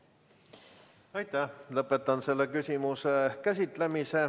Lõpetan selle küsimuse käsitlemise.